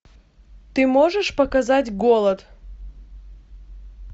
ты можешь показать голод